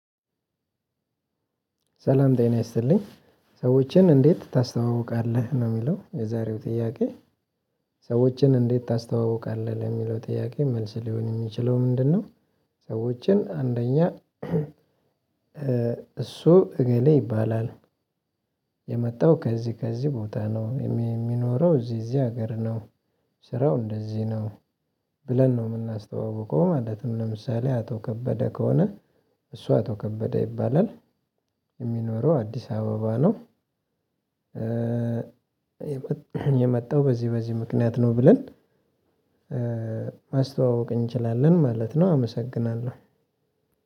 ሰላም ጤና ይስልኝ ሰዎችን እንዴት ታስተዋውቃለህ ነው የሚለው የዛሬው ጥያቄ ሰዎችን እንዴት ታስተዋውቃለህ ለሚለው ጥያቄ መልስ ሊሆን የሚችለው ምንድነው? ሰዎችን አንደኛ እሱ እገሌ ይባላል። የመጣው ከዚህ ከዚህ ቦታ ነው የሚ የሚኖረው እዚህ እዚህ ሀገር ነው። ስራው እንደዚህ ነው። ብለን ነው የምናስተዋውቀው ማለት ነው። ለምሳሌ አቶ ከበደ ከሆነ። እሱ አቶ ከበደ ይባላል። የሚኖረው አዲስ አበባ ነው። የመጣው በዚህ በዚህ ምክንያት ነው ብለን ማስተዋወቅ እንችላለን ማለት ነው። አመሰግናለሁ።